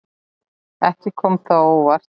Ekki kom það á óvart.